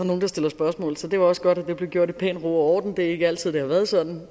nogle der stillede spørgsmål så det var også godt at det blev gjort i pæn ro og orden det har ikke altid været sådan